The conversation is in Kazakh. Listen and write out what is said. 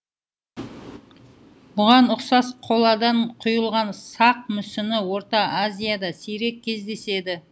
бұған ұқсас қоладан құйылған сақ мүсіні орта азияда сирек кездеседі